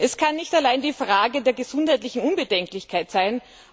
Es kann nicht allein die Frage der gesundheitlichen Unbedenklichkeit sein.